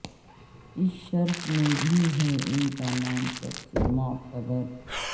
اس شرف میں بھی ہے ان کا نام سب سے معتبر